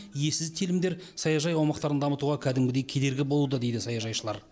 иесіз телімдер саяжай аумақтарын дамытуға кәдімгідей кедергі болуда дейді саяжайшылар